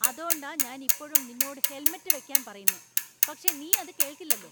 അതോണ്ടാ ഞാൻ ഇപ്പോഴും നിന്നോട് ഹെൽമെറ്റ് വയ്ക്കാൻ പറയുന്നേ, പക്ഷേ നീ അത് കേൾക്കില്ലല്ലോ.